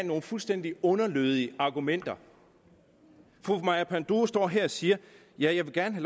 nogle fuldstændig underlødige argumenter fru maja panduro står her og siger jeg vil gerne